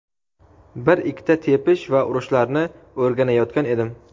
bir - ikkita tepish va urushlarni o‘rganayotgan edim.